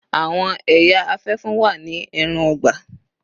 Àwọn ẹya afẹfun wa ni ẹran-ọgbà.